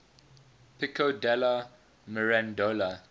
pico della mirandola